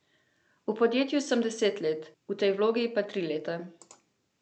V podjetju sem deset let, v tej vlogi pa tri leta.